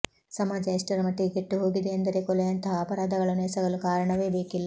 ಸಮಾಜ ಎಷ್ಟರ ಮಟ್ಟಿಗೆ ಕೆಟ್ಟು ಹೋಗಿದೆ ಎಂದರೆ ಕೊಲೆಯಂತಹ ಅಪರಾಧಗಳನ್ನು ಎಸಗಲು ಕಾರಣವೇ ಬೇಕಿಲ್ಲ